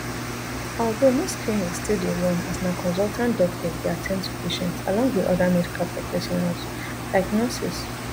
although most clinics still dey run as na consultant doctors dey at ten d to patients along wit oda medical professionals like nurses